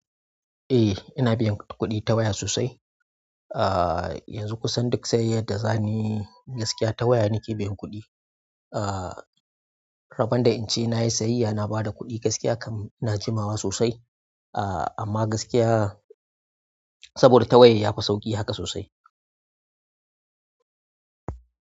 Eh, ina biyan kuɗi ta waya sosai. Ah yanzu kusan duk sayayyar da zamuyi gaskiya ta waya nake biyan kuɗi aa rabon da in ce na yi sayayya na ba da kuɗi gaskiya kam ina jimawa sosai. Aa amma gaskiya saboda ta waya ya fi sauƙi haka sosai.